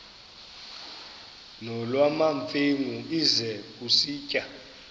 nolwamamfengu ize kusitiya